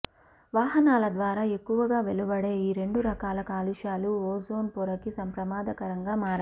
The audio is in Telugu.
వాహనాల ద్వారా ఎక్కువగా వెలువడే ఈ రెండు రకాల కాలుష్యాలు ఓజోన్ పొరకి ప్రమాదకరంగా మారాయి